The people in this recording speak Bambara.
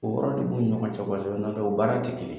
O yɔrɔ nin b'u ni ɲɔgɔn cɛ u nan'o baara tɛ kelen